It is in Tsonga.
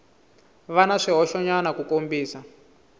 va na swihoxonyana ku kombisa